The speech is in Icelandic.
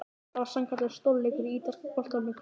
Það var sannkallaður stórleikur í ítalska boltanum í kvöld!